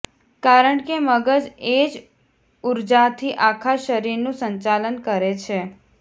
કારણ કે મગજ એ જ ઉર્જાથી આખા શરીરનું સંચાલન કરે છે